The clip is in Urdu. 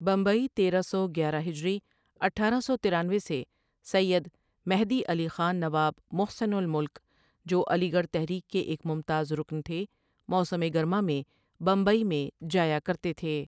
بمبئی تیرہ سو گیرہ ہجری اٹھارہ سو ترانوے سے سیّد مہدی علی خان نواب محسن الملک جوعلی گڑھ تحریک کے ایک ممتاز رکن تھے موسم گرما میں بمبئی میں جایا کرتے تھے ۔